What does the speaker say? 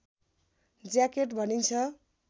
jacket भनिन्छ